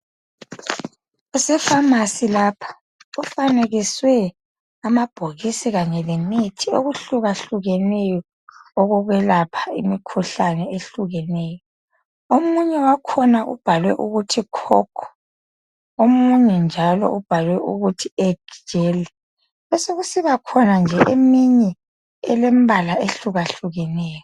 Kuse phamarcy lapha kufanekiswe amabhokisi kanye lemithi okuhlakuhlukeneyo okokwelapha imikhuhlane ehlukeneyo. Omunye wakhona ubhalwe ukuthi Cock, omunye njalo ubhalwe ukuthi Egg gel. Besekusiba nje eminye elemibala ehlukahlukeneyo.